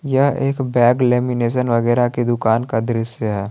यह एक bag lamination वगैरा की दुकान का दृश्य है।